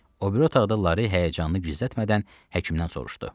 O biri otaqda Lara həyəcanını gizlətmədən həkimdən soruşdu.